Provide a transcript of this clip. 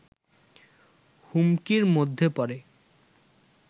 হুমকির মধ্যে পড়ে